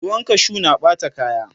ruwan kashu na Ɓata kaya